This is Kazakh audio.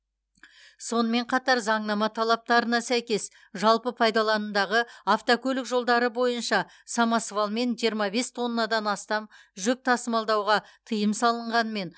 сонымен қатар заңнама талаптарына сәйкес жалпы пайдаланымдағы автокөлік жолдары бойынша самосвалмен жиырма бес тоннадан астам жүк тасымалдауға тыйым салынғанымен